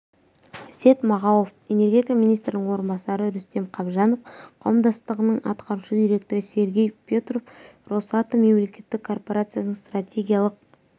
әсет мағауов энергетика министрінің орынбасары рүстем қабжанов қауымдастығының атқарушы директоры сергей петров росатом мемлекеттік корпорациясының стратегиялық